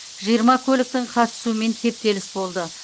жиырма көліктің қатысуымен кептеліс болды